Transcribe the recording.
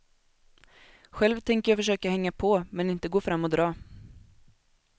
Själv tänker jag försöka hänga på, men inte gå fram och dra.